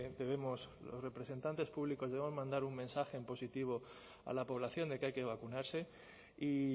debemos los representantes públicos debemos mandar un mensaje en positivo a la población de que hay que vacunarse y